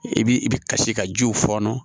I bi i bi kasi ka jiw fɔɔnɔ